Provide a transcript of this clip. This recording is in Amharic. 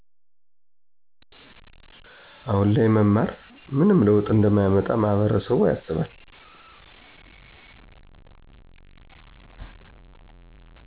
አሁን ላይ መማር ምንም ለውጥ እንደማያመጣ ማህበረሰብያስባል